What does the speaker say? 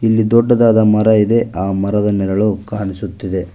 ಇಲ್ಲಿ ದೊಡ್ಡದಾದ ಮರ ಇದೆ ಆ ಮರದ ನೆರಳು ಕಾಣಿಸುತ್ತಿದೆ.